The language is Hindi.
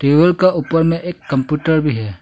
टेबल का ऊपर में एक कंप्यूटर भी है।